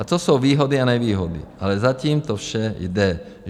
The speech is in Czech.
A to jsou výhody a nevýhody, ale zatím to vše jde.